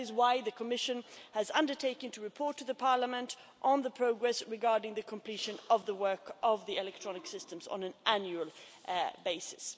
That is why the Commission has undertaken to report to Parliament on the progress regarding the completion of the work on the electronic systems on an annual basis.